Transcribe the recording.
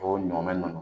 O ɲɔminɛn ninnu